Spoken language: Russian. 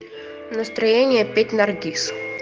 настроение петь наргиз